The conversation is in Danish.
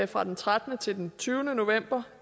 fra den trettende til den tyvende november